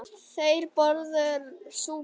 Þeir borðuðu súpu.